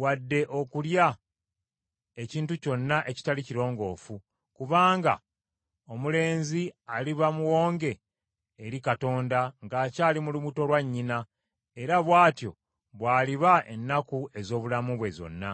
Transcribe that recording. wadde okulya ekintu kyonna ekitali kirongoofu. Kubanga omulenzi aliba Muwonge eri Katonda ng’akyali mu lubuto lwa nnyina, era bw’atyo bw’aliba ennaku ez’obulamu bwe zonna.’ ”